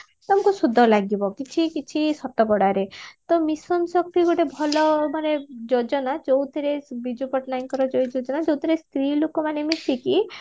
ତମକୁ ସୁଧ ଲାଗିବା କିଛି କିଛି ଶତକଡାରେ ତ mission ଶକ୍ତି ଗୋଟେ ଭଲ ମାନେ ଯୋଜନା ଯୋଉଥିରେ ବିଜୁ ପଟ୍ଟନାୟକଙ୍କର ଯୋଉଥିରେ ସ୍ତ୍ରୀ ଲୋକମାନେ ମିଶିକି